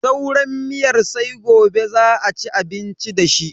Sauran miyar sai gobe za a ci abinci dashi.